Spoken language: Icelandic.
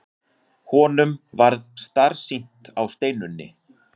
Honum varð starsýnt á Steinunni.